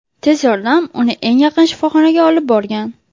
Tez yordam uni eng yaqin shifoxonaga olib borgan.